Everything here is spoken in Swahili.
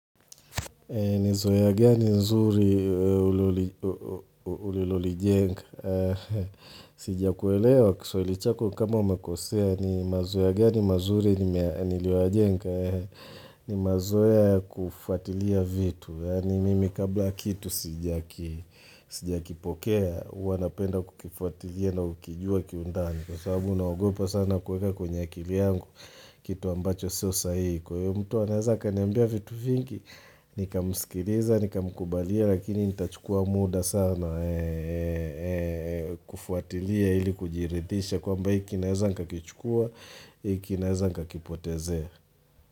Nizoya gani nzuri ulilolijenga Sijia kuelewa kiswali chako kama umakosea ni mazoea gani mazuri niliwa jenga Nimazoea ya kufatilia vitu yaani Mimi kabla kitu sijaki sijia kipokea Uwanapenda kukifatilia na kukijua kiundani Kwa sababu naogopa sana kuweka kwenye akili yangu Kitu ambacho sio saiko mtu anazaka niambia vitu vingi Nika musikiliza, nika mkubalia lakini nita chukua muda sana kufuatilia ili kujiridhisha kwamba hii kinaeza nika kichukua, hii kinaeza nka kipotezea.